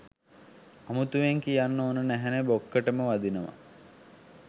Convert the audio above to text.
අමුතුවෙන් කියන්න ඕන නැහැනෙ බොක්කටම වදිනව.